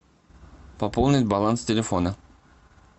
пополнить баланс телефона